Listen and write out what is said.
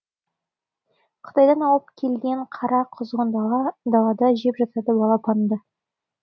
қытайдан ауып келген қара құзғын далада жеп жатады балапанды